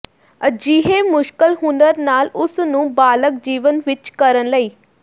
ਅਜਿਹੇ ਮੁਸ਼ਕਲ ਹੁਨਰ ਨਾਲ ਉਸ ਨੂੰ ਬਾਲਗ ਜੀਵਨ ਵਿਚ ਕਰਨ ਲਈ